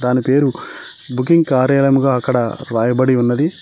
దాని పేరు బుకింగ్ కార్యాలయముగా అక్కడ రాయబడి ఉన్నది.